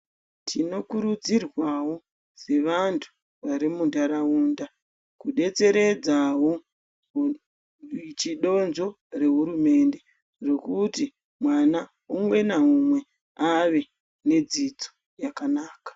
Tinokurudzirwawo sevantu vari muntaraunda kudetseredzawo chidonzvo rehurumende rekuti mwana umwe naumwe ave nedzidzo yakanaka.